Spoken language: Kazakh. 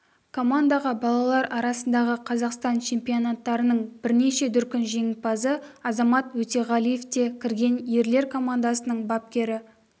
командаға балалар арасындағы қазақстан чемпионаттарының бірнеше дүркін жеңімпазы азамат өтеғалиев те кірген ерлер командасының бапкері